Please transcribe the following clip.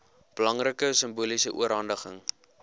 belangrike simboliese oorhandiging